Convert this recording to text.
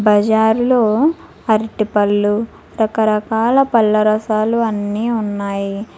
బజారులో అరటిపళ్ళు రకరకాల పళ్ళ రసాలు అన్నీ ఉన్నాయి.